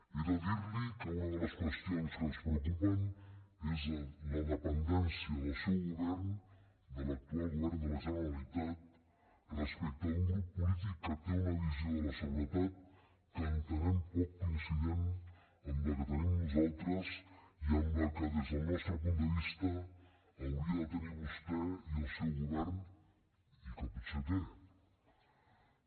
he de dir li que una de les qüestions que ens preocupen és la dependència del seu govern de l’actual govern de la generalitat respecte d’un grup polític que té una visió de la seguretat que entenem poc coincident amb la que tenim nosaltres i amb la que des del nostre punt de vista haurien de tenir vostè i el seu govern i que potser tenen